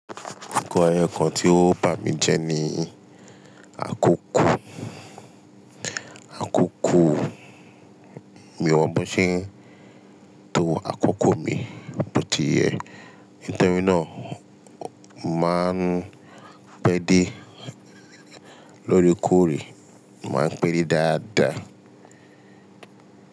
Nǹkan ẹyọ kan tí ó bà mí jẹ ni àkókò, àkókò mi wọ́n mú ṣé tó àkókò mi bó ti yẹ. Nítórí náà máa ń pẹ́ dé lórí kòrìí, máa ń pẹ́ dé dáadáa.